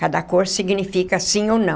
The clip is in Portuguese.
Cada cor significa sim ou não.